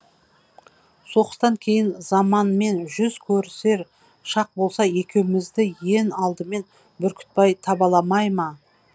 соғыстан кейін заманмен жүз көрісер шақ болса екеумізді ен алдымен бүркітбай табаламай ма